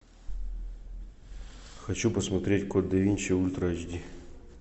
хочу посмотреть код да винчи ультра эйч ди